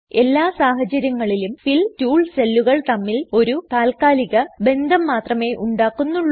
എല്ലാ സാഹചാര്യങ്ങളിലും fill tool സെല്ലുകൾ തമ്മിൽ ഒരു താത്കാലിക ബന്ധം മാത്രമേ ഉണ്ടാക്കുന്നുള്ളൂ